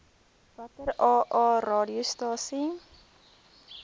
watter aa radiostasies